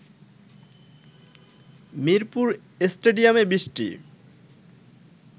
মিরপুর স্টেডিয়ামে বৃষ্টি